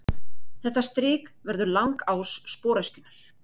Þetta strik verður langás sporöskjunnar.